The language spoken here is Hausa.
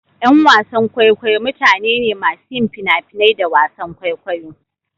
Ƴan wasan kwaikwayo mutane ne masu yin fina-finai da wasan kwaikwayo.